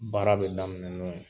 Baara bɛ daminɛ n'o ye.